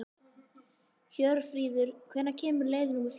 Hjörfríður, hvenær kemur leið númer fjörutíu og eitt?